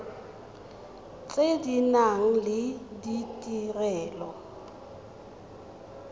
tse di nang le ditirelo